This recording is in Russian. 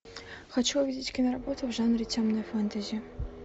хочу увидеть киноработу в жанре темное фэнтези